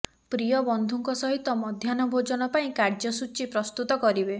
ପ୍ରିୟ ବନ୍ଧୁଙ୍କ ସହିତ ମଧୢାହ୍ନ ଭୋଜନ ପାଇଁ କାର୍ଯ୍ୟସୂଚୀ ପ୍ରସ୍ତୁତ କରିବେ